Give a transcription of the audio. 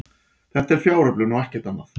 Þetta er fjáröflun og ekkert annað